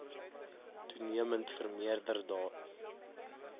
toenemend vermeerder daar